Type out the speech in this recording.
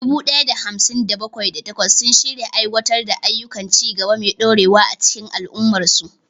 Dubu ɗaya da hamsin da bakwai, da takwas sun shirya aiwatar da ayyukan ci gaba mai dorewa a cikin al'ummarsu.